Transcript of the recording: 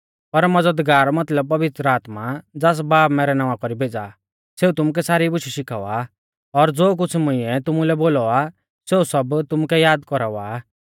पर मज़दगार मतलब पवित्र आत्मा ज़ास बाब मैरै नावां कौरी भेज़ा आ सेऊ तुमुकै सारी बुशै शिखावा और ज़ो कुछ़ मुंइऐ तुमुलै बोलौ आ सेऊ सब तुमुकै याद कौरावा आ